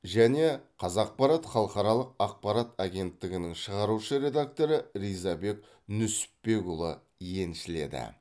және қазақпарат халықаралық ақпарат агентігінің шығарушы редакторы ризабек нүсіпбекұлы еншіледі